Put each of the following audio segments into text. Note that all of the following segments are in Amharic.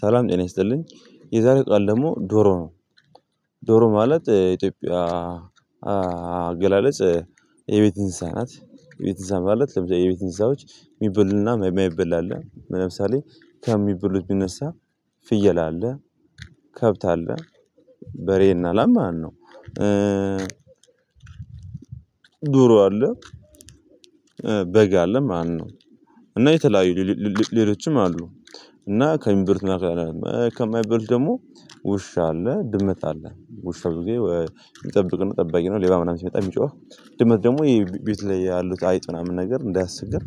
ሰላም ጤና ይስጥልኝ። የዛሬ ቃል ደግሞ ዶሮ ነው። ዶሮ ማለት ኢትዮጵያ አገላለጽ የቤት እንስሳ ናት። የቤት እንስሳ ማለት የቤት እንስሳዎች የሚበሉና የማበላ አለ። ለምሳሌ ከሚበሉት ብነሳ ፍየል አለ፣ ከብት አለ በሬና ላም ማለት ነው ዶሮ አለ፣ በግ አለ ማለት ነው። እና የተለያዩ ሌሎችም አሉ። እና ከሚበሉት ከማይበሉት ደግሞ ውሻ አለ፣ ድምጽ አለ። ውሻ ብዙ ጊዜ የሚጠብቅ ነው ጠባቂ ነው ሌባ ምናምን ሲመጣ የሚጮህ፤ ድመት ደግሞ የቤት ላይ ያሉት አይጥ ምናምን ነገር እንዳያስቸግር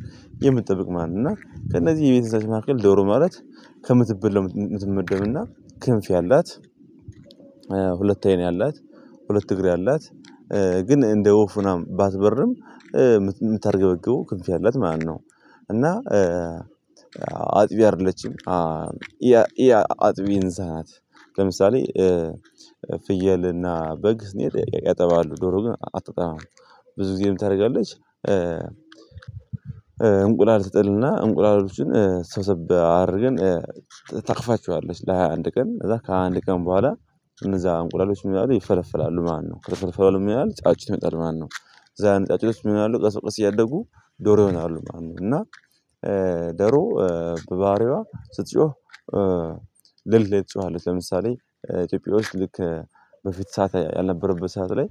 የምትጠብቅ ማለት ነው። እና ከእነዚህ የቤት እንስሳት መካከል ዶሮ ማለት ከምትበላው የምትመደብ እና ክንፍ ያላት ሁለት አይን ያላት፣ ሁለት እግር ያላት፣ ግን እንደ ወፍ ምናምን ባትበርም የምታርገበግበው ክንፍ ያላት ማለት ነው። እና አጥቢ አይደለችም። ያ ያ አጥቢ እንስሳ ናት። ለምሳሌ ፍየልና በግ ስንሄድ ያጠባሉ፤ ዶሮ ግን አታጠባም። ብዙ ጊዜ ምን ታደርጋለች እንቁላል ትጥልና እንቁላሎችን ሰብሰብ አድርገን ታቅፋቸዋለች ለሃያ አንድ ቀን ከዛ ከሃያ አንድ ቀን በኋላ እነዛ አንቁላሎች ምን ይሆናሉ ይፈለፈላሉ ማለት ነው። ከተፈለፈሉ በኋል ምን ይሆናሉ ጫጩት ሁነው ይወጣሉ ማለት ነው። እነዛ ጫጩቶች ምን ይሆናሉ ቀስ በቀስ እያደጉ ዶሮ ይሆናሉ ማለት ነው። እና ደሮ በባህሪዋ ስትጮህ ሌሊት ላይ ትጮሃለች። ለምሳሌ ኢትዮጵያ ውስጥ ልክ በፊት ሰዓት ያልነበረበት ሰዓት ላይ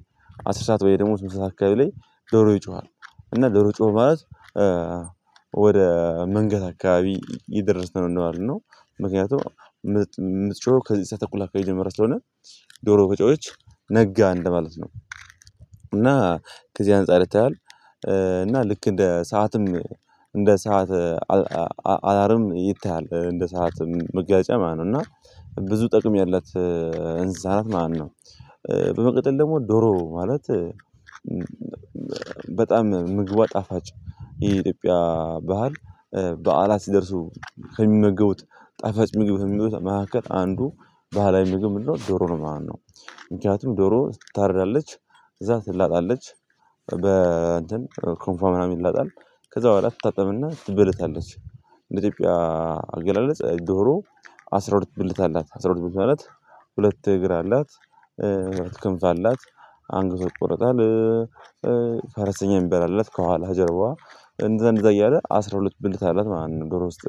አስር ሰዓት ውይ ደግሞ ስምንት ሰዓት አካባቢ ላይ ዶሮ ይጮሃል። እና ዶሮ ጮኸ ማለት ወደ መንጋት አካባቢ እየደርስን ነው ማለት ነው። ምክንያቱም የምትጮህ ከዘጠኝ ሰዓት ተኩል አካባቢ ጀምራ ስለሆነ ዶሮ ከጮኸች ነጋ እንደማለት ነው። እና ከዚህ አንፃር ይታያል። እና ልክ እንደ ሰዓትም እንደ ሰዓት አላርም ይታያል። እንደ ሰዓትም መገለጫ ማለት ነው። እና ብዙ ጥቅም ያላት እንስሳት ናት ማለት ነው። በመቀጠል ደግሞ ዶሮ ማለት በጣም ምግቧ ጣፋጭ ይሄ የኢትዮጵያ ባህል በዓላት ሲደርሱ ከሚመገቡት ጣፋጭ ምግብ ከሚሉት መካከል አንዱ ባህላዊ ምግብ ምንድነው ዶሮ ነው ማለት ነው። ምክንያቱም ዶሮ ትታረዳለች፤ ከዛ ትላጣለች በ እንትን ክንፏ ምናምን ይላጣል። ከዛ በኋላ ትታጠብና ትበለታለች። እንደ ኢትዮጵያ አገላለጽ ዶሮ አስራ ሁለት ብልት አላት። አስራ ሁለት ብልት። አላት ሁለት እግር። አላት ክንፍ አላት። አንገቷ ይቆረጣል። ፈረሰኛ የሚባል አላት ከኋላ ጀርባዋ፤ እንደዛ እንደዛ እያለ አስራ ሁለት ብልት አላት ማለት ነው ዶሮ ስት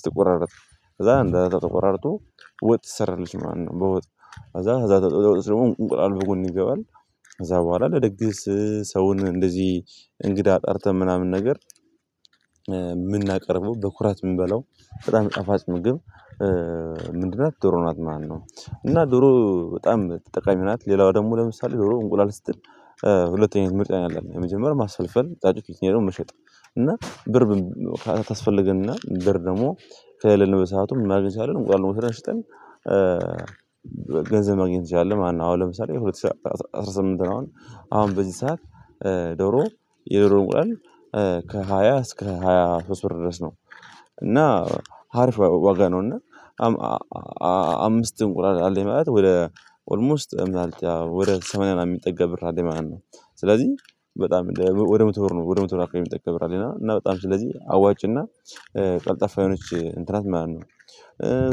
ስትቆራርጥ። ከዛ አንደዛ ተቆራርጦ ወጥ ትሰራለች ማለት ነው። በወጥ ከዛ ከዛ ተጠውቆ ደግሞ እንቁላል በጎን ይገባል ከዛ በኋላ ለድግስ ሰውን እንደዚህ እንግዳ ጠርተን ምናምን ነገር የምናቀርበው በኩራት የምንበለው በጣም ጠፋጭ ምግብ ምንድን ናት ዶሮ ናት ማለት ነው። እና ዶሮ በጣም ጠቃሚ ናት። ሌላው ደግሞ ለምሳሌ ዶሮ እንቁላል ስትጥል ሁለት አይነት ምርጫ ነው ያለን። የመጀመሪያ ማስፈልፈል ጫጭቶች፤ ሁለትኛ ደግሞ መሸጥ። እና ብር ታስፈልገንና ብር ደግሞ ከሌለን በሰአቱ ምን ማድረግ እንችላን እንቁላሉን ወስደን ሽጠን ገንዘብ ማግኘት ይቻላል ማለት ነው። አሁን ለምሳሌ ሁለት ሺህ አስራ አስራ ስምንት ነው አሁን። አሁን በዚህ ሰዓት ዶሮ የዶሮ እንቁላል ከሃያ እስከ ሃያ ሶስት ብር ድረስ ነው። እና አሪፍ ዋጋ ነው እና አምስት እንቁላል አለኝ ማለት ወደ ኦልሞስት ወደ ሰማንያ የሚጠጋ ብር አለኝ ማለት ነው። ስለዚህ በጣም ወደ መቶ ብር ነው ወደ መቶ ብር አካባቢ የሚጠጋ ብር አለኝ እና። እና በጣም ስለዚህ አዋጭና ቀልጣፋ የሆነች እንትን ናት ማለት ነው።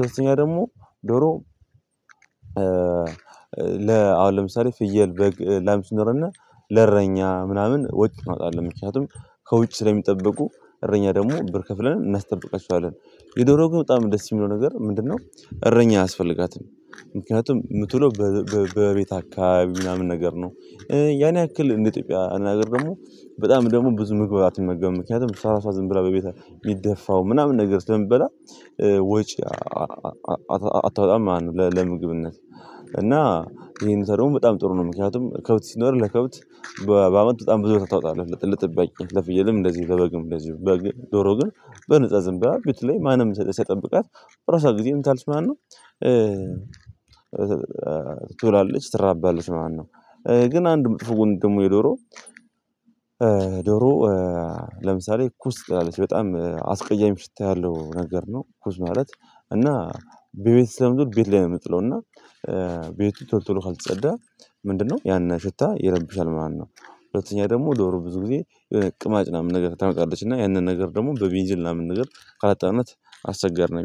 ሶስተኛ ደግሞ ዶሮ ለ አሁን ለምሳሌ ፍየል በግ ላም ሲኖረን ለእረኛ ምናምን ወጪ እናወጣለን። ምክንያቱም ከውጭ ስለሚጠበቁ እረኛ ደግሞ ብር ከፍለን እናስጠብቃቸዋለን። የዶሮ ግን በጣም ደስ የሚለው ነገር ምንድነው እረኛ አያስፈልጋትም ምክንያቱም የምትለው በቤት አካባቢ ምናምን ነገር ነው። ያን ያክል እንደ ኢትዮጵያ አነጋገር ደግሞ በጣም ደግሞ ብዙ ምግብ አትመገብም። ምክንያቱም እሷ እራሷ ዝም ብላ በቤት የሚደፋው ምናምን ነገር ስለምትበላ ወጪ አታውጣም ማለት ነው ለምግብነት። እና ይሄ ሁኔታ ደግሞ በጣም ጥሩ ነው ምክንያቱም ከብት ሲኖር ለከብት በአመት በጣም ብዙ ብር ታወጣለህ ለጠባቂ። ለፍየልም እንደዚህ ለበግም እንደዚህ። በግ ዶሮ ግን በነፃ ዝም በላ ቤት ላይ ማንም ሳይጠብቃት በራሷ ጊዜ ምን ትላለች ማለት ነው ትውላለች ትራባለች ማለት ነው። ግን አንድ መጥፎ ጎን ደግሞ የዶሮ ዶሮ ለምሳሌ ኩስ ትጥላለች። በጣም አስቀያሚ ሽታ ያለሁ ነገር ነው ኩስ ማለት። እና በቤት ስለምትውል ቤት ላይ ነው የምትጥለው እና ቶሎ ካልተጸዳ ምንድነው ያንን ሽታ ይረብሻል ማለት ነው። ሁለተኛ ደግሞ ዶሮ ብዙ ጊዜ የሆነ ቅማጭ ምናምን ነገር ታመጣለች። እና ያንን ነገር ደግሞ በቤንዚል ምናምን ነገር ካላጠብናት አሰቸጋሪ ነው የሚሆነው።